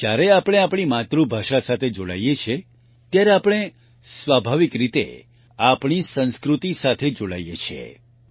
જ્યારે આપણે આપણી માતૃભાષા સાથે જોડાઈએ છીએ ત્યારે આપણે સ્વાભાવિક રીતે આપણી સંસ્કૃતિ સાથે જોડાઈએ છીએ